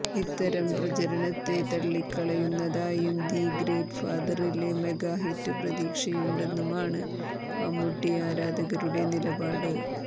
ഇത്തരം പ്രചരണത്തെ തള്ളിക്കളയുന്നതായും ദി ഗ്രേറ്റ്ഫാദറില് മെഗാഹിറ്റ് പ്രതീക്ഷയുണ്ടെന്നുമാണ് മമ്മൂട്ടി ആരാധകരുടെ നിലപാട്